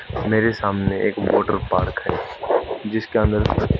मेरे सामने एक वाटर पार्क है जिसका नर--